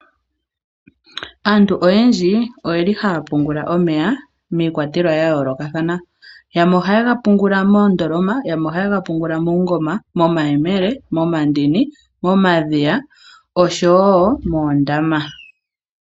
Aantu oyendji oyeli haya pungula omeya miikwatelwa ya yooloka thana yamwe ohaye ga pungula moondoloma, yamwe ohaye ga pungula moma yemele, moma ndini, moma dhiya osho wo moondama.